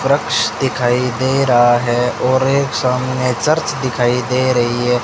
वृष दिखाई दे रहा है और एक सामने चर्च दिखाई दे रही है।